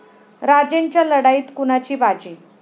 राजेंच्या लढाईत कुणाची बाजी?